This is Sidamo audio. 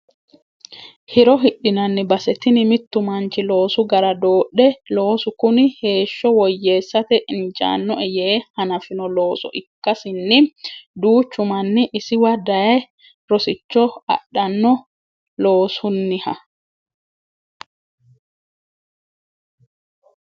Hiro hidhinanni base tini mitu manchi loosu gara doodhe loosu kuni heeshsho woyyeessate injanoe yee hanafino looso ikkasinni duuchu manni isiwa daaye rosicho adhano loosuniha.